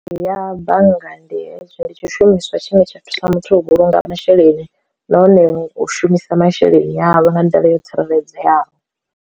Ya bannga ndi ndi tshishumiswa tshine tsha thusa muthu u vhulunga masheleni nahone u shumisa masheleni avho nga nḓila yo tsireledzeaho.